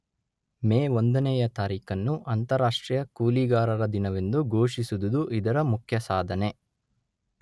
ಮೇ ಒಂದನೆಯ ತಾರೀಖನ್ನು ಅಂತಾರಾಷ್ಟ್ರೀಯ ಕೂಲಿಗಾರರ ದಿನವೆಂದು ಘೋಷಿಸಿದುದು ಇದರ ಮುಖ್ಯಸಾಧನೆ.